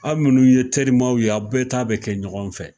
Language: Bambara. Aw munnu ye terimaw ye, aw bɛɛ ta bi kɛ ɲɔgɔn fɛ.